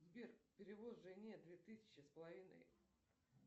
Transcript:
сбер перевод жене две тысячи с половиной